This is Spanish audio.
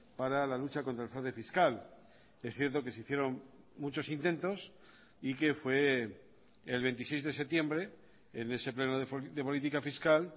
para la lucha contra el fraude fiscal es cierto que se hicieron muchos intentos y que fue el veintiséis de septiembre en ese pleno de política fiscal